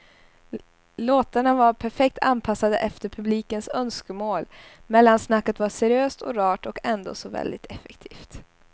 Låtarna var perfekt anpassade efter publikens önskemål, mellansnacket var seriöst och rart och ändå så väldigt effektivt.